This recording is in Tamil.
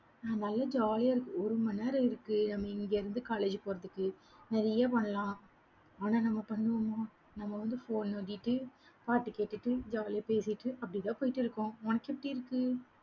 அஹ் நல்லா jolly ஆ இருக்கு ஒரு மணி நேரம் இருக்கு நம்ம இங்க இருந்து college போறதுக்கு, நிறைய பண்ணலாம் ஆனா, நம்ம பண்ணுவோமா? நம்ம வந்து phone நோண்டிட்டு, பாட்டு கேட்டுட்டு jolly ஆ பேசிட்டு, அப்படித்தான் போயிட்டிருக்கோம். உனக்கு எப்படி இருக்கு.